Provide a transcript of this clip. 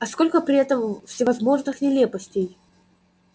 а сколько при этом всевозможных нелепостей